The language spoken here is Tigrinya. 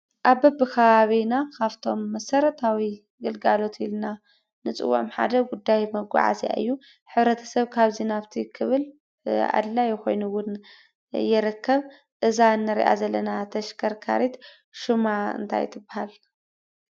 አብ በብከባቢና ካፍቶም መሰረታዊ ግልጋሎት ኢልና ንፅውዖም ሓደ ጉዳይ መጓዓዝያ እዩ። ሕብረተሰብ ካብዚ ናብዚ ክብል ኣድላይ ኮይኑ እውን ይርከብ። እዛ ንሪአ ዘለና ተሽካርካሪት ሽማ እንታይ ትበሃል?